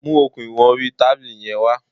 Mu okùn ìwọn orí tábìlì yẹn wá.